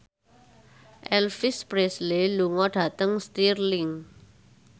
Elvis Presley lunga dhateng Stirling